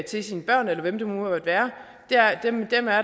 til sine børn eller hvem det nu måtte være